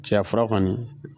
Cɛya fura kɔni